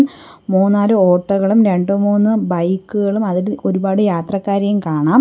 മൂന്നാല് ഓട്ടോകളും രണ്ടുമൂന്നു ബൈക്കുകളും അതിൽ ഒരുപാട് യാത്രക്കാരെയും കാണാം.